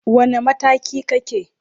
Wane mataki kake?